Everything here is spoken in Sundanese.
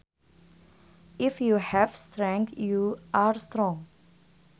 If you have strength you are strong